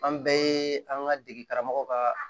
An bɛɛ ye an ka degera mɔgɔw ka